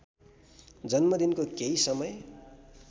जन्मदिनको केही समय